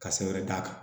Ka sɛbɛn d'a kan